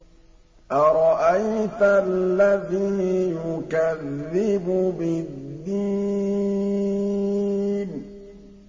أَرَأَيْتَ الَّذِي يُكَذِّبُ بِالدِّينِ